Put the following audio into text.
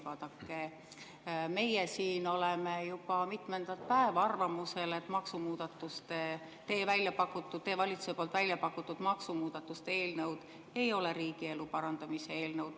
Vaadake, meie siin oleme juba mitmendat päeva arvamusel, et maksumuudatuste, teie valitsuse välja pakutud maksumuudatuste eelnõud ei ole riigielu parandamise eelnõud.